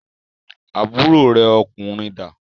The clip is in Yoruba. Àbúrò rẹ ọkùnrin da?